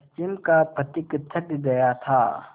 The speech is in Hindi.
पश्चिम का पथिक थक गया था